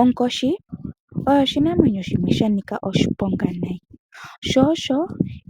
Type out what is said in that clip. Onkoshi oyo oshinamwenyo shimwe sha nika oshiponga nayi, sho osho